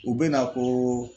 U bɛ na ko